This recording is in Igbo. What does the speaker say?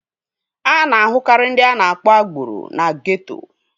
A na-ahụkarị ndị a na-akpọ agboro na geeto